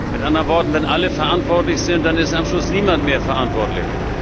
Mit anderen Worten Wenn alle verantwortlich sind, dann ist am Schluss niemand mehr verantwortlich.